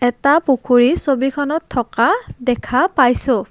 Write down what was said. এটা পুখুৰী ছবিখনত থকা দেখা পাইছোঁ।